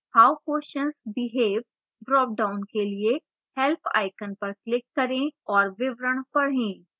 how questions behave dropdown के लिए help icon पर click करें और विवरण पढें